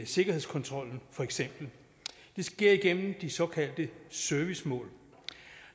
sikkerhedskontrollen det sker igennem de såkaldte servicemål